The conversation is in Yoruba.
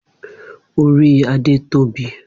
Ori Ade tobi.